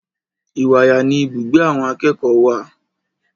Ìwàyà ni ibùgbé àwọn akẹ́kọ̀ọ́ wà.